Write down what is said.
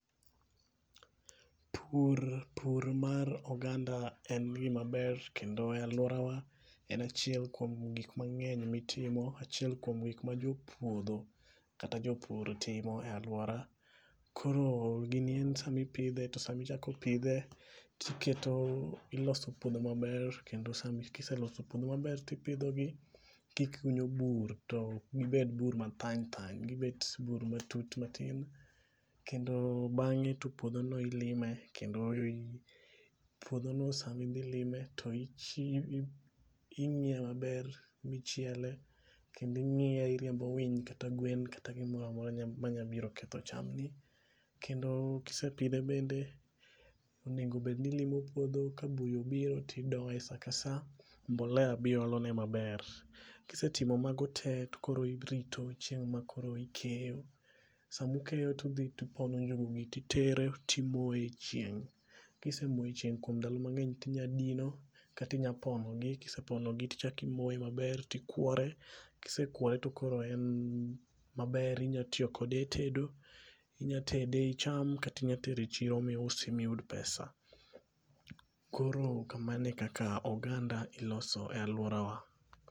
Pur pur mar oganda en gima ber kendo e aluorawa en achiel kuom gik mang'eny mitimo. Achiel kuom gik ma jopuodho kata jopur timo e aluora. Koro gini in sama ipidhe to sami chako pidhe tiketo iloso puodho maber kendo sami kiseloso puodho maber tipidho gi tikunyo bur to kik giber bur mathany thany, gibet bur matut matin kendo bang'e to puodho ilime kendo ii .Puodho no sami dhi lime to ing'iye maber michielo kendo ing'iye iriembo winy kata gwen kata gimoramora manya biro ketho cham. Kendo kisepidhe bende onego bed ni ilimo puodho ka buya obiro tidoye saa ka saa, mbolea biolone maber. Kisetimo mago tee tokore irito chieng' ma koro ikeyo. Samu keyo tudhi tupono njuguni titere timoe chieng' . Kisemoe chieng' kuom ndalo mang'eny tinya dino kati nya pono gi kisepono gi tichaki moe maber tikwore. Kisekwore tokore en maber inya tiyo kode e tedo , inya tede ichame kata inya tere e chiro miyud pesa. Koro kamano ekaka oganda iloso e aluorawa.